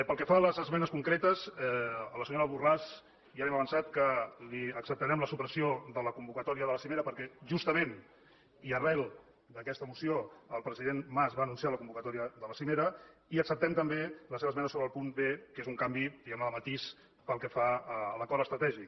pel que fa a les esmenes concretes a la senyora borràs ja li hem avançat que li acceptarem la supressió de la convocatòria de la cimera perquè justament i arran d’aquesta moció el president mas va anunciar la convocatòria de la cimera i acceptem també la seva esmena sobre el punt bde matís pel que fa a l’acord estratègic